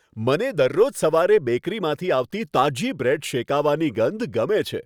મને દરરોજ સવારે બેકરીમાંથી આવતી તાજી બ્રેડ શેકાવાની ગંધ ગમે છે.